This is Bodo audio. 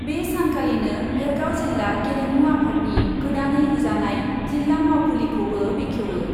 बे सानखालिनो भेरगाव जिल्ला गेलेमु आफादनि गोदानै लुजानाय जिल्ला मावखुलिखौबो बेखेवयो।